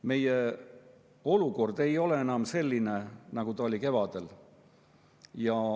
Meie olukord ei ole enam selline, nagu ta oli kevadel.